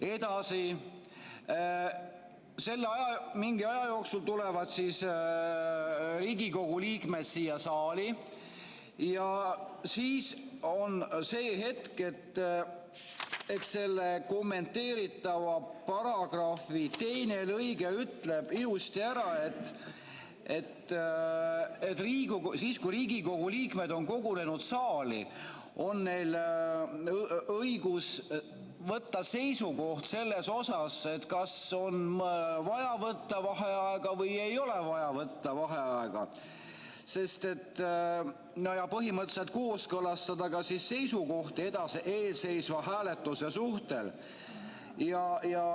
Edasi, mingi aja jooksul tulevad siis Riigikogu liikmed siia saali ja siis on see hetk, selle kommenteeritava paragrahvi teine lõige ütleb ilusti ära, et kui Riigikogu liikmed on kogunenud saali, on neil õigus võtta seisukoht, kas on vaja võtta vaheaega või ei ole vaja võtta vaheaega, ja põhimõtteliselt kooskõlastada ka seisukohti ees seisva hääletuse suhtes.